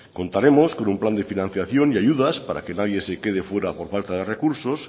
contaremos con un plan de financiación y ayudas para que nadie se quede fuera por falta de recursos